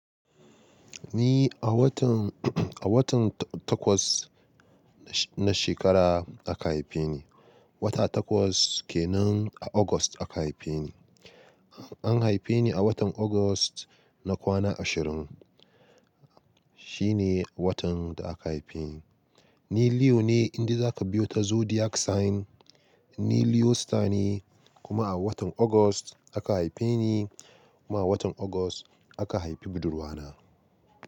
Ni a watan, a watan takwas na shekara aka haife ni. Wata takwas kenan a August aka haife ni. An haife ni a watan August na kwana ashirin. Shi ne watan da aka haife ni. Ni Leo ne, in de za ka biyo ta zodiac sign. Ni Leo star ne kuma a watan August aka haife ni kuma a watan August aka haifi budurwa na.